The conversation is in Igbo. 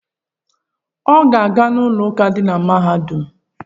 Ọ ga-aga ụlọụka dị na mahadum?